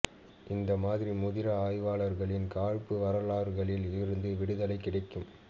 இந்த மாதிரி முதிரா ஆய்வாளர்களின் காழ்ப்பு வரலாறுகளில் இருந்து விடுதலை கிடைக்கும்